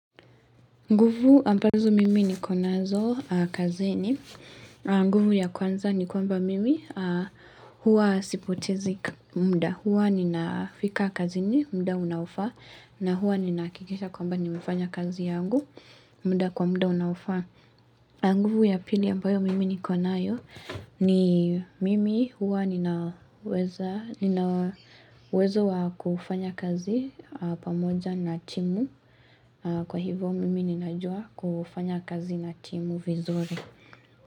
Nguvu ambazo mimi nikonazo kazini. Nguvu ya kwanza ni kwamba mimi huwa sipotezi mda. Huwa ninafika kazini, mda unaofaa, na huwa ninaakikisha kwamba nimefanya kazi yangu, mda kwa mda unaofaa. Nguvu ya pili ambayo mimi nikonayo ni mimi huwa ninawezo wa kufanya kazi pamoja na timu kwa hivyo mimi ninajua kufanya kazi na timu vizuri.